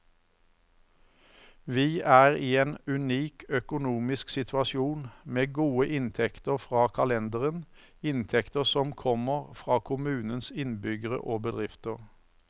Vi er i en unik økonomisk situasjon, med gode inntekter fra kalenderen, inntekter som kommer fra kommunens innbyggere og bedrifter.